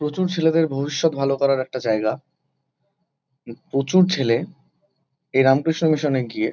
প্রচুর ছেলেদের ভবিষ্যত ভালো করার একটা জায়গা। উ প্রচুর ছেলে এই রামকৃষ্ণ মিশন -এ গিয়ে--